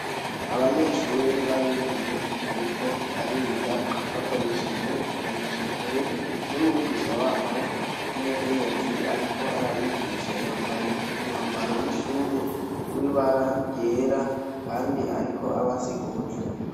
Abanyeshure babigeme bariko bakoresheje imboneshakure numwigisha wabo w'umukenyezi ariko arabigisha yambaye w'ishure w'ibara ryera kandi ariko abasigurira.